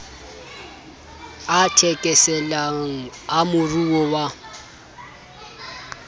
a thekeselang a moruo wa